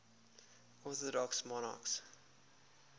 orthodox monarchs